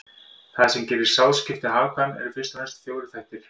Það sem gerir sáðskipti hagkvæm eru fyrst og fremst fjórir þættir.